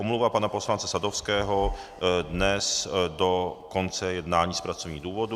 Omluva pana poslance Sadovského dnes do konce jednání z pracovních důvodů.